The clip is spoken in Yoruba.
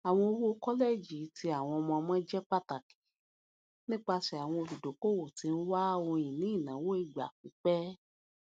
àwọn owó kọlẹjì ti àwọn ọmọọmọ jẹ pàtàkì nipasẹ àwọn olùdókòwò tí ń wá ohunini ináwó ìgbà pípẹ